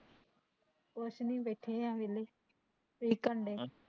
ਕੁਸ਼ ਨੀ ਬੈਠੇ ਆ ਵੇਹਲੇ ਤੁਸੀਂ ਕੀ ਕਰਨ ਡਏ ਅਹ